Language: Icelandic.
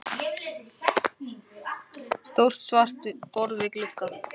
Stórt svart borð við glugga.